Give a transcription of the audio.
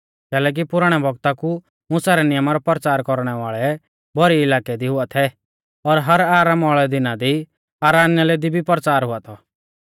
कैलैकि पुराणै बौगता कु मुसा रै नियमा रौ परचार कौरणै वाल़ै भौरी इलाकै दी हुआ थै और हर आरामा वाल़ै दिना दी आराधनालय दी भी परचार हुआ थौ